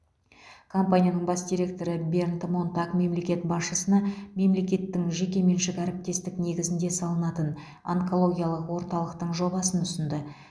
компанияның бас директоры бернд монтаг мемлекет басшысына мемлекеттік жекеменшік әріптестік негізінде салынатын онкологиялық орталықтың жобасын ұсынды